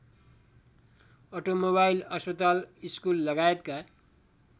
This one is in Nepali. अटोमोबाइल अस्पताल स्कुललगायतका